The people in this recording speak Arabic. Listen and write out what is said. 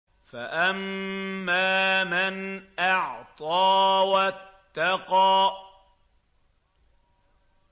فَأَمَّا مَنْ أَعْطَىٰ وَاتَّقَىٰ